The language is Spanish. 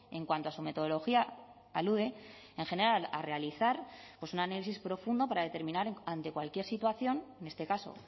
en cuanto a su metodología alude en general a realizar un análisis profundo para determinar ante cualquier situación en este caso